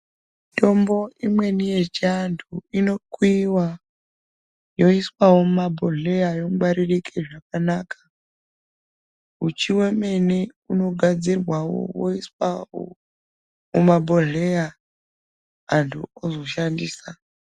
Mitombo imweni yechiantu inokuyiva yoiswavo mumabhohleya yongwaririre zvakanaka. Uchi hwemene hunogadzirwavo hwoiswavo kumabhohleya akanaka antu ozoshandisa.